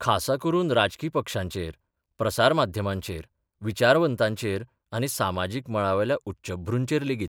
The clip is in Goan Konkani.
खासा करून राजकी पक्षांचेर प्रसार माध्यमांचेर, विचारवंतांचेर आनी सामाजीक मळावेल्या उच्चभ्रूंचेर लेगीत.